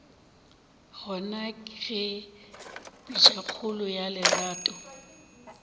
gona ge pitšakgolo ya lerato